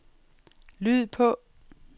lyd på